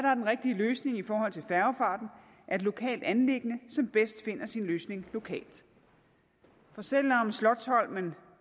er den rigtige løsning i forhold til færgefarten er et lokalt anliggende som bedst finder sin løsning lokalt for selv om slotsholmen